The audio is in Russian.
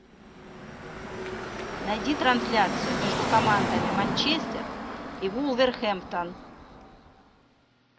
найди трансляцию между командами манчестер и вулверхэмптон